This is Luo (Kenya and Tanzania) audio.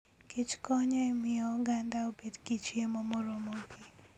kichkonyo e miyo oganda obed gi chiemo moromogi.